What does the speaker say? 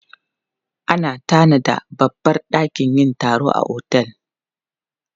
Ana tanada babbar dakin yin taro a otel.